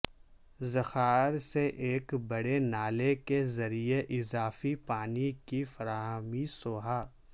ذخائر سے ایک بڑے نالے کے ذریعے اضافی پانی کی فراہمی سوھا